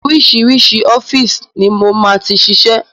Oríṣiríṣi ọ́fíìsì ni mo máa ti ṣiṣẹ́.